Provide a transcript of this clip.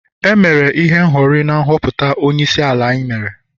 e mere ihe n' hori na nhọpụta onyeisiala anyị mere